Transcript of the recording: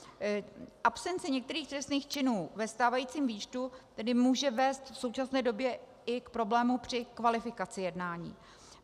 Absence některých trestných činů ve stávajícím výčtu tedy může vést v současné době i k problému při kvalifikaci jednání.